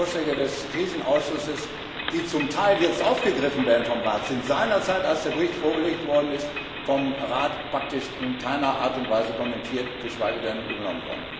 Die Vorschläge des Krisenausschusses, die zum Teil jetzt aufgegriffen werden vom Rat, sind seinerzeit, als der Bericht vorgelegt worden ist, vom Rat praktisch in keiner Art und Weise kommentiert, geschweige denn übernommen worden.